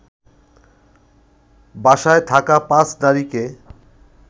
বাসায় থাকা ৫ নারীকে